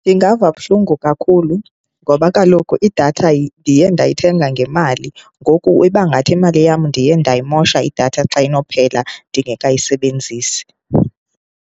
Ndingava buhlungu kakhulu ngoba kaloku idatha ndiye ndayithenga ngemali, ngoku ibangathi imali yam ndiye ndayimosha idatha xa inophela ndingekayisebenzisi.